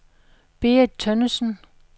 Berit Tønnesen